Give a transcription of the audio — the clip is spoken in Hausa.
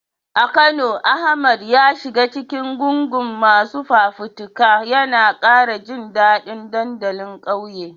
A Kano, Ahmad ya shiga cikin gungun masu fafutuka, yana kara jin dadin dandalin kauye.